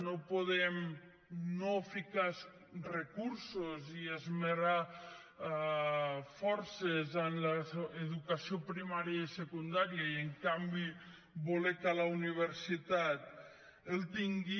no podem no ficar recursos i no esmerçar forces en l’educació primària i secundària i en canvi voler que la universitat el tingui